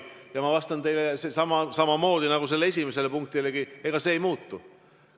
Ma vastan teile samamoodi nagu esimesele punktilegi: ega see ei muutu.